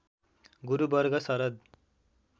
गुरु वर्ग शरद